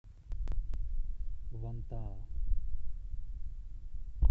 вантаа